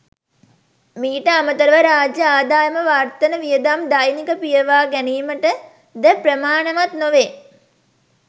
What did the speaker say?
මීට අමතරව රාජ්‍ය ආදායම වර්තන වියදම් දෛනික පියවා ගැනීමටද ප්‍රමාණවත් නොවේ.